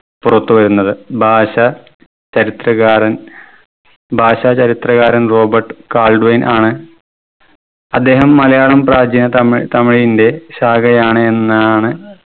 പുറത്തു വരുന്നത് ഭാഷ ചരിത്രകാരൻ ഭാഷാ ചരിത്രകാരൻ റോബർട്ട് കാൾവെയ്‌ൻ ആണ് അദ്ദേഹം മലയാളം പ്രാചീന തമിഴ തമിഴിന്റെ ശാഖയാണ് എന്നാണ്